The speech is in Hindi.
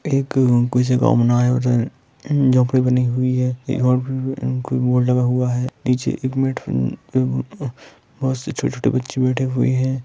जो किसी को बनाये होते है झोपडी बानी हुई है एक ऑरेंज रंग का बोर्ड लगा हुआ है निचे एक मिनट उम्म बहुत सी छोटी-छोटी बच्ची बैठी हुई है।